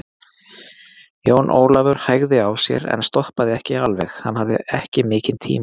Jón Ólafur hægði á sér en stoppaði ekki alveg, hann hafði ekki mikinn tíma.